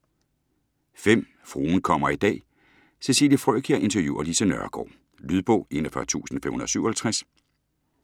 Fruen kommer i dag: Cecilie Frøkjær interviewer Lise Nørgaard Lydbog 41557